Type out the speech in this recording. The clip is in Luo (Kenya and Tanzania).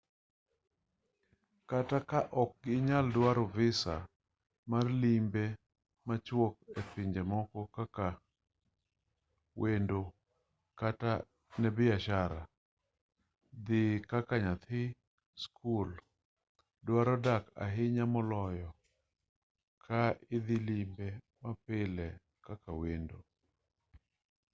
kata ka ok inyal dwaro visa mar limbe machuok e pinje moko kaka wendo kata ne biashara dhi kaka nyathi skul dwaro dak ahinya moloyo ka idhi limbe mapile kaka wendo